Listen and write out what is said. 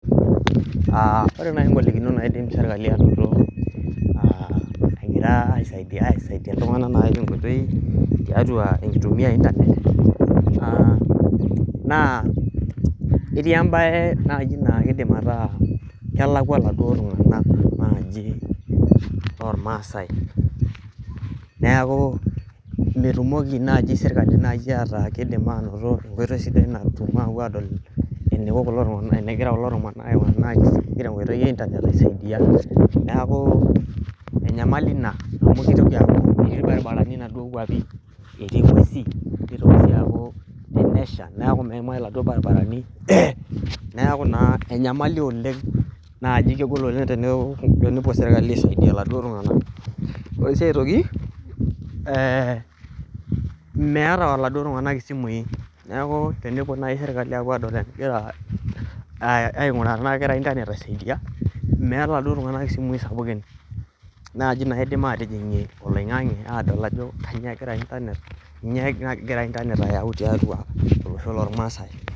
ore najii ingolikinot naidim sirkali anoto naa egira aisaidia iltung'anak naii tenkoitoi tiatua enkitumia ee internet naa etii embaye naji naa keidim ataa kelakua iladuo tung'anak naaji loormaasai neeku metumoki naji sirkali nayii ataa keidim anoto enkoitoi sidai natum apuo adol eneiko kulo tung'anak enegira kulo tung'anak aiko nayii tenkoitoi ee internet aisaidia neeku enyamali ina amu metii ibaribarani inaduoo kwapi netii ing'wesi tenesha neeku meimayu iladuo baribarani neeku naa enyamali oleng' najii kegol oleng' tenepuo sirkali aisaidia iladuo tung'anak ore sii aitoki meeta iladuo tung'anak isimui neeku tenepuo nayii sirkali apuo adol enegira aing'uraa tenaa kegira internet aisaidia metaa iladuo tung'anak ismui sapukin naaji naidim ateing'ie oling'ang'e ajo kanyio egira internet ayau tiatua olosho loorrmaasi.